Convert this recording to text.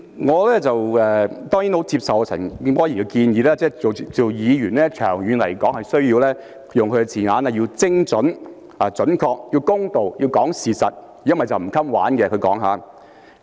代理主席，我當然很接受陳健波議員的建議，他說擔任議員，長遠來說，需要精準、要公道、要講事實，否則便"唔襟玩"，這是他用的字眼。